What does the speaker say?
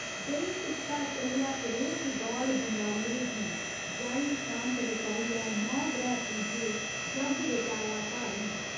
देई टिक्का चलेआ परोह्त गौड़ बंगाले गी जाई सांत रचाइयै नौ ग्रैह् पूजे, जग रचाया भारी।